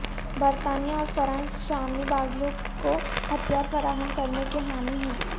برطانیہ اور فرانس شامی باغیوں کو ہتھیار فراہم کرنے کے حامی ہیں